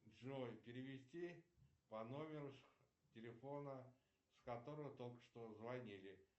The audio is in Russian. джой перевести по номеру телефона с которого только что звонили